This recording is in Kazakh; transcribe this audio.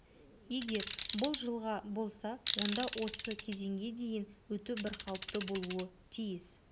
егер бұл жылға болса онда осы кезеңге дейін өту бірқалыпты болуы тиіс